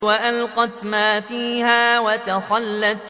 وَأَلْقَتْ مَا فِيهَا وَتَخَلَّتْ